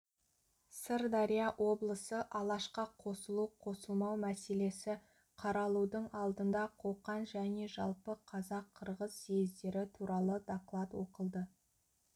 сырдария облысы алашқа қосылу қосылмау мәселесі қаралудың алдында қоқан және жалпы қазақ-қырғыз съездері туралы доклад оқылды